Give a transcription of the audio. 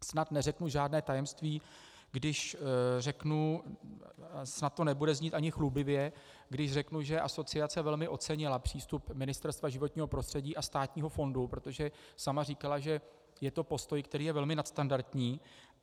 Snad neřeknu žádné tajemství, když řeknu - snad to nebude znít ani chlubivě - když řeknu, že asociace velmi ocenila přístup Ministerstva životního prostředí a státního fondu, protože sama říkala, že je to postoj, který je velmi nadstandardní.